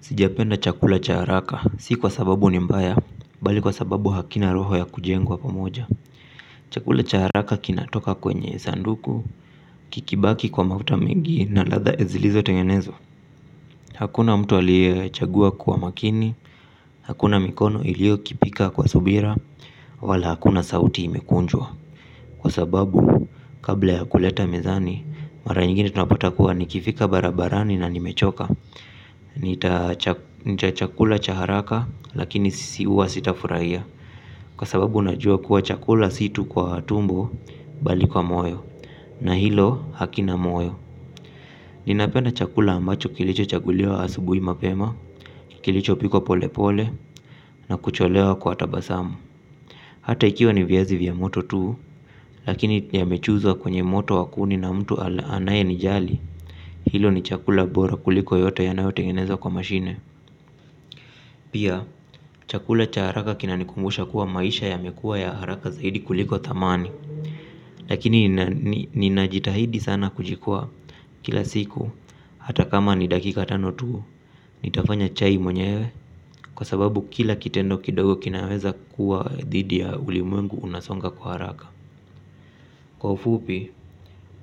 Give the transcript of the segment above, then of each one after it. Sijapenda chakula cha haraka, si kwa sababu ni mbaya, bali kwa sababu hakina roho ya kujengwa pamoja. Chakula cha haraka kinatoka kwenye sanduku, kikibaki kwa mafuta mingi na latha zilizo tengenezwa. Hakuna mtu aliyechagua kuwa makini, hakuna mikono ilio kipika kwa subira, wala hakuna sauti imekunjwa. Kwa sababu, kabla ya kuleta mezani, mara nyingine tunapata kuwa nikifika barabarani na nimechoka. Nitachakula chaharaka lakini sisi uwa sitafurahia. Kwa sababu unajua kuwa chakula situ kwa tumbo bali kwa moyo. Na hilo hakina moyo. Ninapenda chakula ambacho kilicho chaguliwa asubui mapema. Kilicho pikwa pole pole na kucholewa kwa tabasamu hata ikiwa ni viazi vya moto tuu. Lakini ya mechuzwa kwenye moto wakuni na mtu anaye nijali. Hilo ni chakula bora kuliko yote yanayo tengenezwa kwa mashine. Pia, chakula cha haraka kina nikumbusha kuwa maisha ya mekuwa ya haraka zaidi kuliko thamani. Lakini ninajitahidi sana kujikwaa kila siku hata kama ni dakika tano tuu, nitafanya chai mwenyewe. Kwa sababu kila kitendo kidogo kinaweza kuwa dhidi ya ulimwengu unasonga kwa haraka. Kwa ufupi,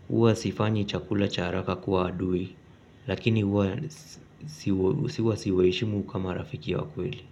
uwa sifanyi chakula cha haraka kuwa adui. Lakini uwa siwa siwaheshimu kama rafiki ya wakweli.